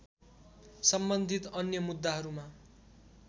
सम्बन्धित अन्य मुद्दाहरूमा